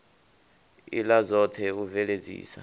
ila dzot he u bveledzisa